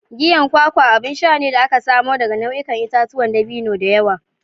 Giyan kwakwa abun sha ne da aka samo daga nau'ikan itatuwan dabino da yawa.